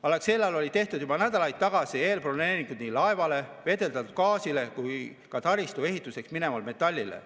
Alexelal olid tehtud juba nädalaid tagasi eelbroneeringud nii laevale, gaasile kui ka taristu ehituseks minevale metallile.